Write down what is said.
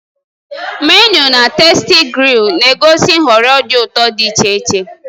Menịu na "TastyGrill" na-egosi nhọrọ dị ụtọ dị iche iche.